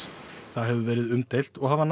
það hefur verið umdeilt og hafa